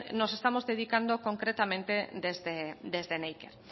nos estamos dedicando concretamente desde neiker